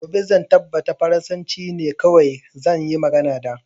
Gobe zan tabbata farasanci ne kawai zan yi magana da